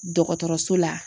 Dɔgɔtɔrɔso la.